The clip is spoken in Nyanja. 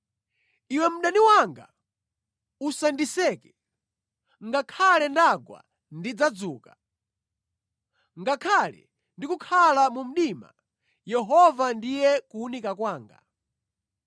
Iwe mdani wanga, usandiseke! Ngakhale ndagwa, ndidzauka. Ngakhale ndikukhala mu mdima, Yehova ndiye kuwunika kwanga.